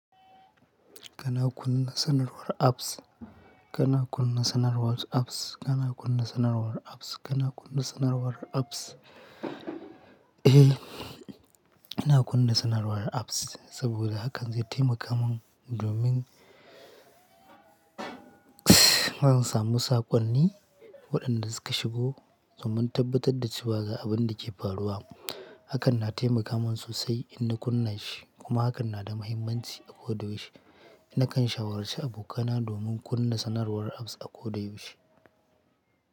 Kana kunna sanarwar apps. Kana kunna sanarwar apps. Kana kunna sanarwar apps. Kana kunna sanarwar apps. Eh, ina kunna sanarwar apps saboda hakan zai taimaka min domin zan samu saƙonni waɗanda suka shigo domin tabbatar da cewa ga abin da ke faruwa. Hakan na taimaka min sosai in ni kunna shi kuma hakan na da mahimmanci a koyaushe. Nakan shawarci abokana domin kunna sanarwar apps a koyaushe.